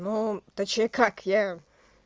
ну точнее как я